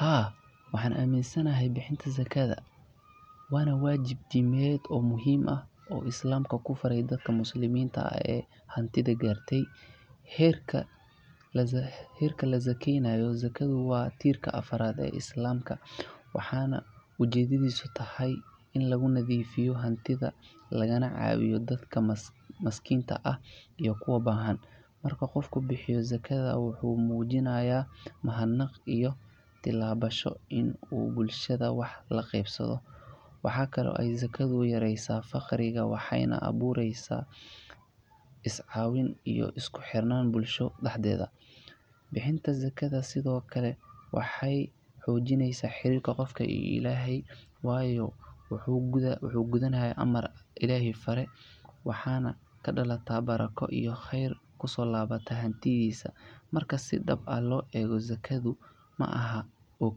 Haa waxaan aminsanehe bixinta zakada waana wajib diniyad oo islamka ku faare dadka muslimada oo haanti garte herka la zakeynayo waa tirka afarda ee islamka waaxan ujeedadisa taha ina lagu nadiifiyo hantida oo lagu cawiyo dadka maskinta ah iyo kuwa bahan marku qofku bixiyo zakada wuxu mujiinaya mahadnaq iyo tilabasho uu bulshadha waxa la qeybsado waxa kale Ee zakada yareysa faqriiga waxeyna aboreysa is cawineysa iskuxiiranan bulsho daxdeda bixinta zakada sidhoo kale waaxey hojiineysa xirirka qofka iyo ilahay waayo wuxu kudunaya aamar oo ilahay faare waaxan kadalata barako iyo kheer kuso labata xantidiisa marka sii daaba lo ego zakado maaxa oo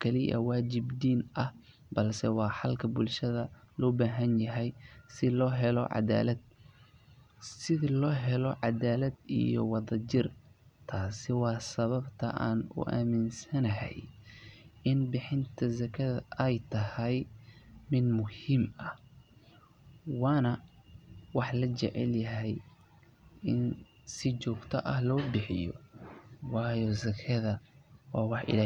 kali waa wajib diina ah balsa waa xalka bulshada lobahayaha sii lohelo cadalad iyo wada jiir taas oo waa sababta aan u aminsanayah in bixinta zakada ey taahay mid muhim waan waax lajecalyaha in sii jogta lo bixiyo waayo zakada waaxa ilahay.